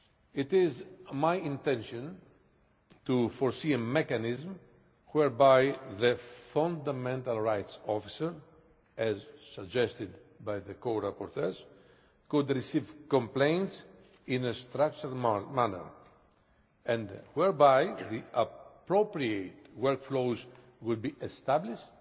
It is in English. It is my intention to provide for a mechanism whereby the fundamental rights officer, as suggested by the co rapporteurs, could receive complaints in a structural manner and whereby the appropriate workflows would be established